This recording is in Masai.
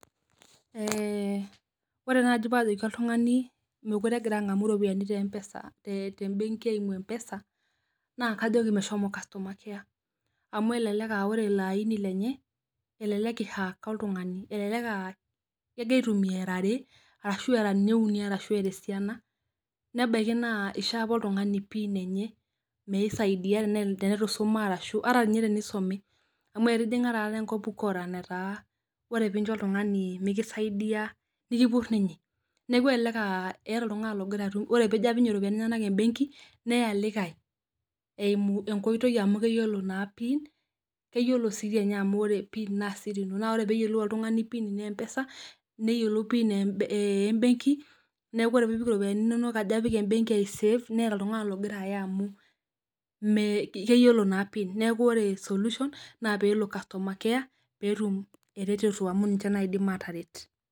Eh ore naaji paajoki oltungani mekure egira angamu ropiyani tebenki eimu mpesa naa kajoki meshomo costumer care amu elelek ah ore ilo aini lenye elelek I hack oltungani elelek ah kegira aitumia era are arashu era ninye uni ashu era esiana nebaiki naa ishoo apa oltungani pin enye misaidia teneitu ishoma arashu ata ninye teneisume amu etijinga taata enkop ukora enataa ore pee injo oltungani mikisaidia nikipur ninye neaku elelek ah keeta oltungani ogira atum ore pee eji apik ninye iropiyani enyenak ebenki neya likae eimu enkoitoi amu keyiolo naa pin neyiolo sii amu ore naa pin naasiri ino naa ore pee eyiolou oltungani pin eempesa neyiolo pin ebenki neaku wore pee ijo abik iropiyani inonok ebenki aisef neeta oltungani ogira aya amu keyiolo naa pin neaku ore solution naa peelo customer care peetum eretoto amu ninye aataret.